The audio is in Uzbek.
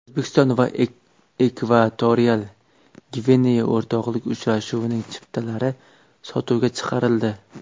O‘zbekiston va Ekvatorial Gvineya o‘rtoqlik uchrashuvining chiptalari sotuvga chiqarildi.